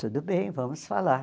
Tudo bem, vamos falar.